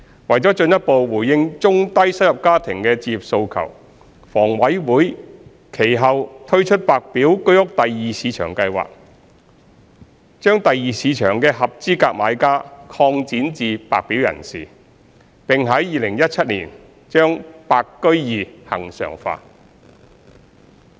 為進一步回應中低收入家庭的置業訴求，房委會其後推出白表居屋第二市場計劃，將第二市場的合資格買家擴展至白表人士，並於2017年將白居二恆常化。